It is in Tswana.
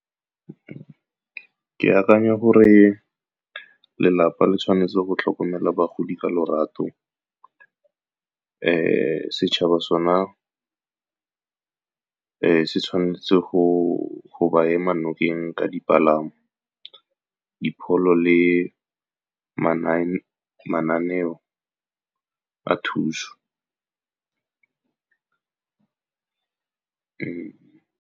Ke akanya gore lelapa le tshwanetse go tlhokomela bagodi ka lorato. Setšhaba sone se tshwanetse go ba ema nokeng ka dipalamo, dipholo, le mananeo a thuso.